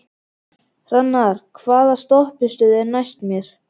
Hrannar, hvaða stoppistöð er næst mér?